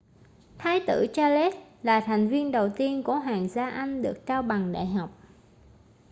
thái tử charles là thành viên đầu tiên của hoàng gia anh được trao bằng đại học